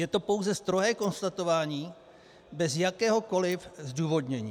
Je to pouze strohé konstatování bez jakéhokoliv zdůvodnění.